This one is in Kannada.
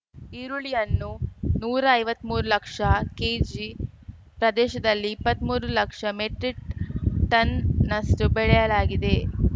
ಈರುಳ್ಳಿಯನ್ನು ನೂರಾ ಐವತ್ಮೂರು ಲಕ್ಷ ಕೆಜಿ ಪ್ರದೇಶದಲ್ಲಿ ಇಪ್ಪತ್ಮೂರು ಲಕ್ಷ ಮೆಟ್ರಿಕ್‌ ಟನ್‌ನಷ್ಟು ಬೆಳೆಯಲಾಗಿದೆ